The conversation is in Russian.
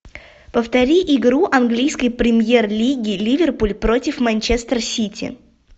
повтори игру английской премьер лиги ливерпуль против манчестер сити